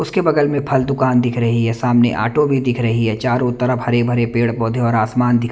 उसके बगल में फल दुकान दिख रही है सामने ऑटो भी दिख रही है चारों तरफ हरे-भरे पेड़ पौधे और आसमान दिख--